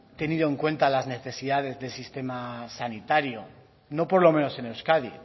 tenido en cuenta las necesidades del sistema sanitario no por lo menos en euskadi